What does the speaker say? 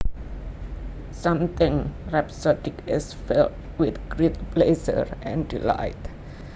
Something rhapsodic is filled with great pleasure and delight